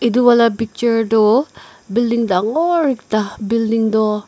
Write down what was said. edu wala picture du building dangor ekta building du.